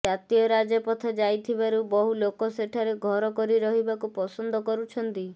ଜାତୀୟ ରାଜପଥ ଯାଇଥିବାରୁ ବହୁ ଲୋକ ସେଠାରେ ଘର କରି ରହିବାକୁ ପସନ୍ଦ କରୁଛନ୍ତି